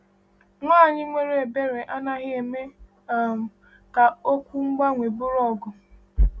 Nwanyị nwere ebere anaghị eme um ka okwu gbanwee bụrụ ọgụ.